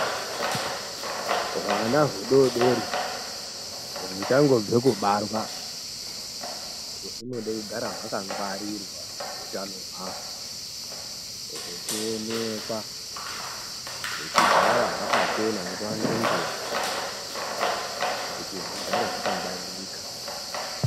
Hwana hudodori huchangobve kubarwa hunode kugara hwakangwarirwa utano hwahwo huchioneka kuti hugare hwakachena nguwa ngenguwa kuti hugare hwakangwaririka.